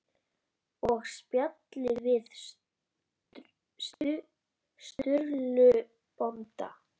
Og spjalli við Sturlu bónda.